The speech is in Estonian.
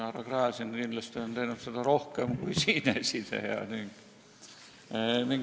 Härra Gräzin on seda teinud kindlasti rohkem kui siinesineja.